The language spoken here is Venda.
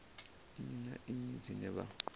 nnyi na nnyi dzine vha